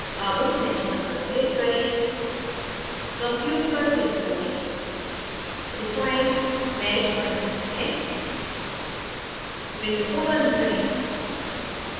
अब mesh _ 1 पर click करें compute पर click करें refined mesh now गया है window को बंद करें